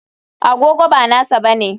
Agogo ba nasa bane.